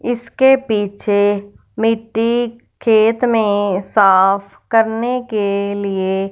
इसके पीछे मिट्टी खेत में साफ करने के लिए--